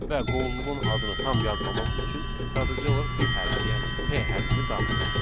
Və qovluğun adını tam yazmamaq üçün sadəcə olaraq bir hərfi, yəni P hərfini daxil edirik.